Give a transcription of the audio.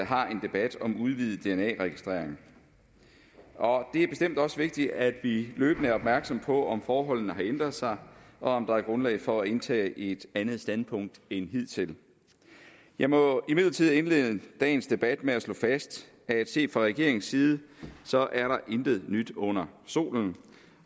har en debat om udvidet dna registrering og det er bestemt også vigtigt at vi løbende er opmærksomme på om forholdene har ændret sig og om der er grundlag for at indtage et andet standpunkt end hidtil jeg må imidlertid indlede dagens debat med at slå fast at set fra regeringens side er der intet nyt under solen